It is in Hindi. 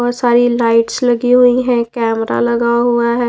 बहोत सारी लाइट्स लगी हुई है कैमरा लगा हुआ है।